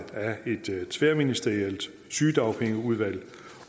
af et tværministerielt sygedagpengeudvalg